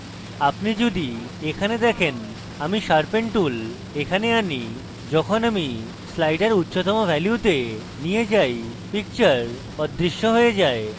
কিন্তু আপনি যদি এখানে দেখেন এবং আমি sharpen tool এখানে আনি এবং যখন আমি slider উচ্চতম ভ্যালুতে নিয়ে যাই picture অদৃশ্য হয়ে যায়